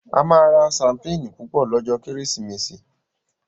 A má rà Ṣampeeni Púpọ lójó Kérésìmesì.